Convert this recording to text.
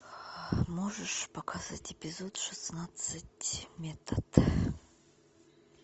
можешь показать эпизод шестнадцать метод